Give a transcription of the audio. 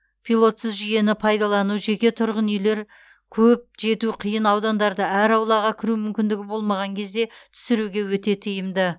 пилотсыз жүйені пайдалану жеке тұрғын үйлер көп жету қиын аудандарды әр аулаға кіру мүмкіндігі болмаған кезде түсіруге өте тиімді